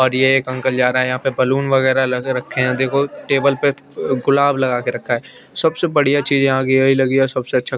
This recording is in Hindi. और एक ये अंकल जारा यापे बलून वगेरा लग रखे है देखो टेबल पे अ गुलाब लगा के रखा है सबसे बड़िया चीज यहा की यही लगी सबसे अच्छा--